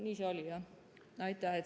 Nii see oli jah.